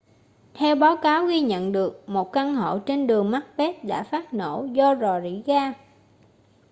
theo báo cáo ghi nhận được một căn hộ trên đường macbeth đã phát nổ do rò rỉ ga